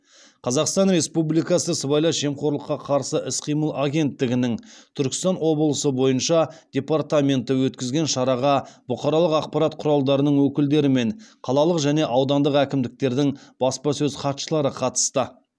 қазақстан республикасы сыбайлас жемқорлыққа қарсы іс қимыл агенттігінің түркістан облысы бойынша департаменті өткізген шараға бұқаралық ақпарат құралдарының өкілдері мен қалалық және аудандық әкімдіктердің баспасөз хатшылары қатысты